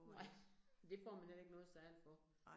Nej, det får man heller ikke noget særligt for